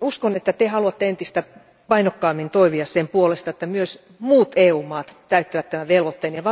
uskon, että te haluatte entistä painokkaammin toimia sen puolesta, että myös muut EU maat täyttävät tämän velvoitteen.